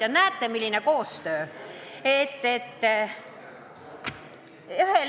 Ja näete, milline koostöö!